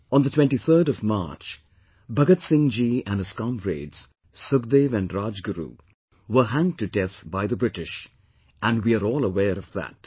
On the 23rd of March, Bhagat Singh Ji and his comrades, Sukhdev and Rajguru, were hanged to death by the British, and we are all aware of that